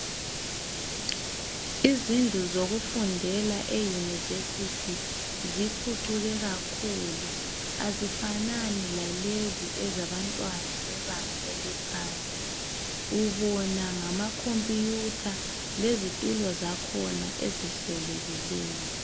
Izindlu zokufundela eYunivesithi ziphucuke kakhulu azifanani lalezi ezabantwana bebanga eliphansi. Ubona ngama khompiyutha lezitulo zakhona ezihlelekileyo.